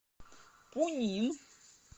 пунин